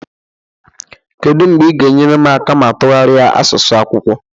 Kedu mgbe ị ga-enyere m aka ma tụgharịa asụsụ akwụkwọ